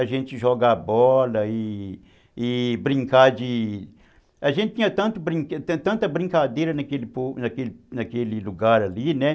A gente jogar bola e e e brincar de... A gente tinha tanto tanta brincadeira naquele naquele naquele lugar ali, né?